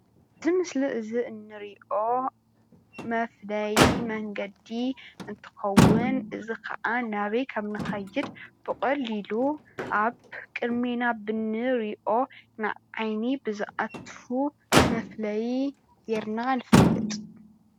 ኣብቲ ምስሊ እዚ እንሪኦ መፍለዪ መንገዲ እንትከዉን እዚከዓ ናበይ ከምንከይድ ብቀሊሉ ኣብ ቅድሜና ብንሪኦ ንዓይኒ ብዛኣቱ መፍለዪ ጌርና ንፈልጥ።